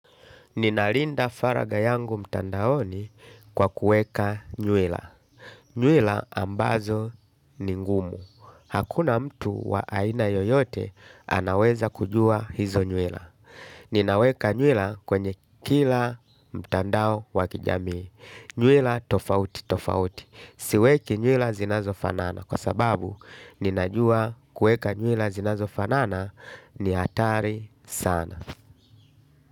Ninalinda faraga yangu mtandaoni kwa kueka nyuila. Nyuila ambazo ni ngumu. Hakuna mtu wa aina yoyote anaweza kujua hizo nyuila. Ninaweka nyuila kwenye kila mtandao wakijamii. Nyuila tofauti tofauti. Siweki nyuila zinazo fanana kwa sababu ninajua kueka nyuila zinazo fanana ni hatari sana.